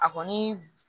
A kɔni